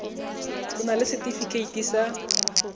o na le setefikeiti sa